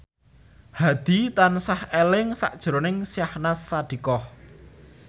Hadi tansah eling sakjroning Syahnaz Sadiqah